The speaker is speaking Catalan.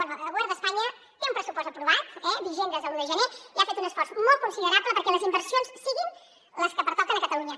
bé el govern d’espanya té un pressupost aprovat eh vigent des de l’un de gener i ha fet un esforç molt considerable perquè les inversions siguin les que pertoquen a catalunya